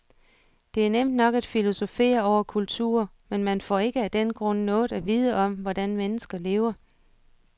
Det er nemt nok at filosofere over kulturer, men man får ikke af den grund noget at vide om, hvordan mennesker lever.